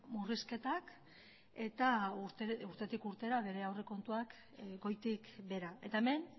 murrizketak eta urtetik urtera bere aurrekontuak goitik behera eta hemen